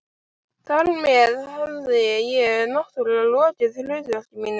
Þar með hafði ég- náttúrlega- lokið hlutverki mínu.